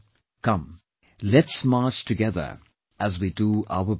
Come, let's march together as we do our bit